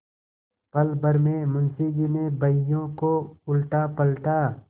पलभर में मुंशी जी ने बहियों को उलटापलटा